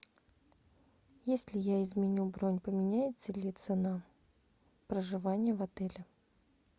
если я изменю бронь поменяется ли цена проживания в отеле